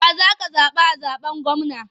Wa ka zaɓa a zaɓen gwamna?